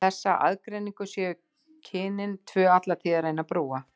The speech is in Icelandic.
Þessa aðgreiningu séu kynin tvö alla tíð að reyna að brúa.